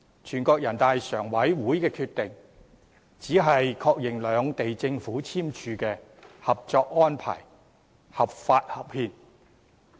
全國人民代表大會常務委員會的決定只是確認兩地政府簽署的《合作安排》合法和合憲。